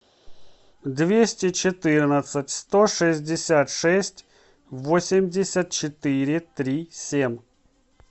двести четырнадцать сто шестьдесят шесть восемьдесят четыре три семь